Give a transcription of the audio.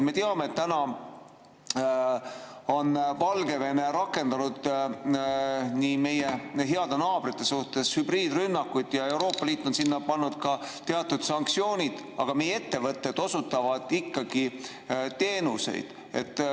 Me teame, et Valgevene on rakendanud meie heade naabrite suhtes hübriidrünnakuid ja Euroopa Liit on pannud peale ka teatud sanktsioonid, aga meie ettevõtted osutavad ikkagi teenuseid.